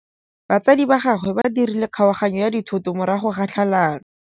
Batsadi ba gagwe ba dirile kgaoganyô ya dithoto morago ga tlhalanô.